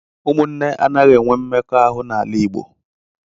Ụmụnne anaghị enwe mmekọahụ n’ala Igbo.